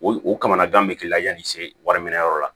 O o kamanagan be k'i la yanni se wari mara yɔrɔ la